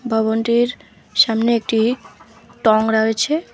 ভবনটির সামনে একটি টং রাওয়েছে।